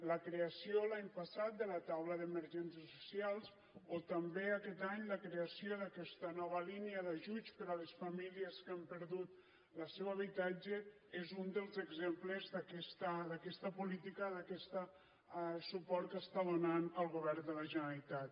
la creació l’any passat de la taula d’emergències socials o també aquest any la creació d’aquesta nova línia d’ajuts per a les famílies que han perdut el seu habitatge és un dels exemples d’aquesta política d’aquest suport que està donant el govern de la generalitat